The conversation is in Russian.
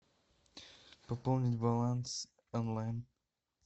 пополнить баланс онлайн